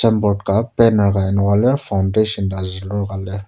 signboard ka banner ka enoka lir foundation ta zulur ka lir.